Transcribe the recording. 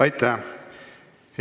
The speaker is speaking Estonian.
Aitäh!